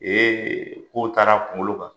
Ee kow taara a kunkolo kan!